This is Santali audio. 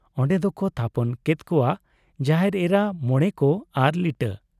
ᱚᱱᱰᱮ ᱫᱚᱠᱚ ᱛᱦᱟᱯᱚᱱ ᱠᱮᱫ ᱠᱚᱣᱟ ᱡᱟᱦᱮᱨ ᱮᱨᱟ, ᱢᱚᱬᱮ ᱠᱚ ᱟᱨ ᱞᱤᱴᱟᱹ ᱾